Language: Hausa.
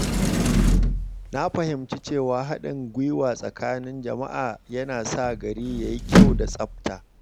Na fahimci cewa haɗin gwiwa tsakanin jama’a yana sa gari ya yi kyau da tsafta.